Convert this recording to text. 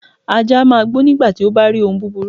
Ajá a máa gbó nígbàti ó bárí ohun búburú